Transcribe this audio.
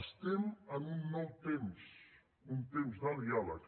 estem en un nou temps un temps de diàleg